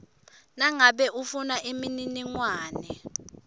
nangabe ufuna imininingwane